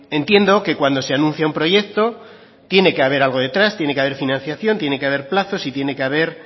entiendo que cuando se anuncia un proyecto tiene que haber algo detrás tiene que haber financiación tiene que haber plazos y tiene que haber